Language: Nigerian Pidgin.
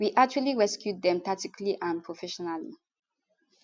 we actually rescue dem tactically and professionally